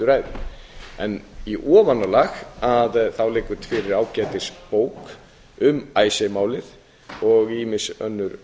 stuttu ræðu í ofanálag liggur fyrir gæti bók um icesave málið og ýmis önnur